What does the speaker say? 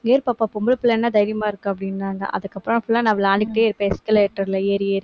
ஏறு பாப்பா, பொம்பளை பிள்ளைன்னா தைரியமா இருக்க அப்படின்னாங்க. அதுக்கப்புறம், full ஆ, நான் விளையாண்டுக்கிட்டே இருப்பேன், escalator ல ஏறி ஏறி